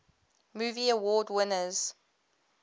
movie award winners